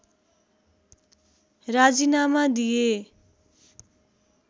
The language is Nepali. राजिनामा दिए